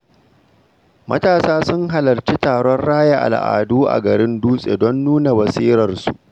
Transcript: Matasa sun halarci taron raya al’adu a garin Dutse don nuna basirarsu.